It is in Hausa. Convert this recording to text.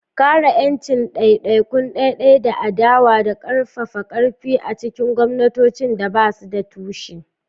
Kare 'yancin ɗaiɗaikun ɗaiɗai da adawa da ƙarfafa ƙarfi a cikin gwamnatocin da ba su da tushe.